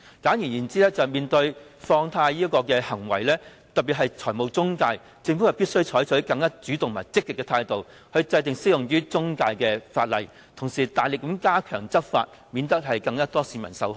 簡而言之，對於放貸行為，特別是中介公司，政府必須採取更主動和積極的態度，制定適用於中介公司的法例，同時大力加強執法，以免有更多市民受害。